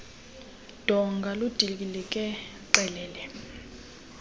donga ludilikele qelele